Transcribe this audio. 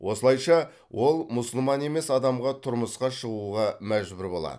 осылайша ол мұсылман емес адамға тұрмысқа шығуға мәжбүр болады